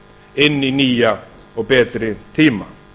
inn í nýja og betri tíma